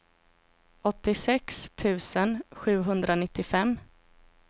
åttiosex tusen sjuhundranittiofem